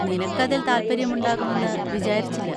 നിനക്ക് അതിൽ താല്പര്യമുണ്ടാകുമെന്ന് വിചാരിച്ചില്ല.